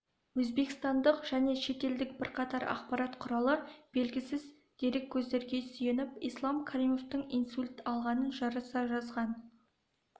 өзбекстандық және шетелдік бірқатар ақпарат құралы белгісіз дереккөздерге сүйеніп ислам каримовтің инсульт алғанын жарыса жазған